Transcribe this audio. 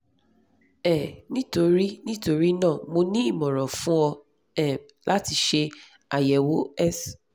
um nítorí nítorí náà mo ní ìmọ̀ran fún ọ um láti ṣe ayẹwo s